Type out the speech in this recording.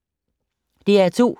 DR2